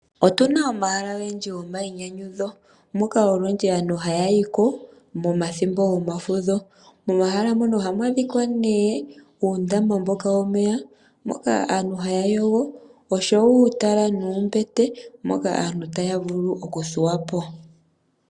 Otuna omahala ogendji go mayinyanyudho moka olundji aantu haya yiko momathimbo gomafudho. Momahala mono ohamu adhika nee uundama mboka womeya, moka aantu haya yogo, oshowo uuutala nuumbete moka aantu taya vulu oku thuwapo.